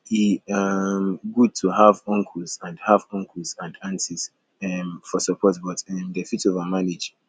e um good to have uncles and have uncles and aunties um for support but um dem fit overmanage